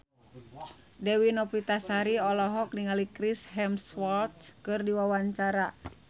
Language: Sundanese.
Dewi Novitasari olohok ningali Chris Hemsworth keur diwawancara